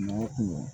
Kuma o kuma